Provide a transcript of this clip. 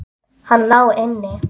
Hann lá inni!